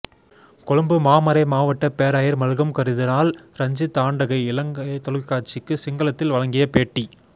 கொழும்பு மாமறைமாவட்ட பேராயர் Malcolm cardinal Ranjith ஆண்டகை இலங்கைத் தொலைக்காட்சிக்கு சிங்களத்தில் வழங்கிய பேட்டி